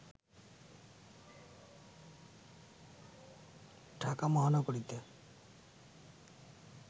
ঢাকা মহানগরীতে